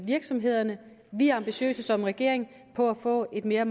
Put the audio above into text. virksomhederne vi er ambitiøse som regering for at få en mere